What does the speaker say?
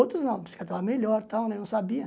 Outros não, a bicicleta estava melhor e tal, né eu não sabia.